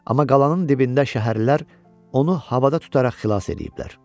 Amma qalanın dibində şəhərlilər onu havada tutaraq xilas eləyiblər.